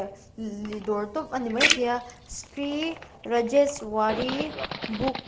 dawr tawp a ni maithei a sri rajeswari book .